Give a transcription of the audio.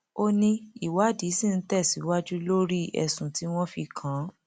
ó ní ìwádìí ṣì ń tẹsíwájú lórí ẹsùn tí wọn fi kàn án